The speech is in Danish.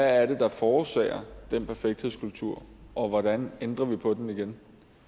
er det der forårsager den perfekthedskultur og hvordan ændrer vi på den igen